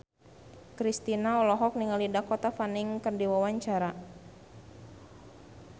Kristina olohok ningali Dakota Fanning keur diwawancara